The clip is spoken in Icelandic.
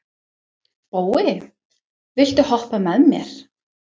Bói, viltu hoppa með mér?